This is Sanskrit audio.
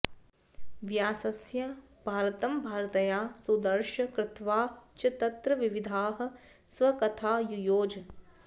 व्यासस्य भारतमभारतया सुदर्श कृत्वा च तत्र विविधाः स्वकथा युयोज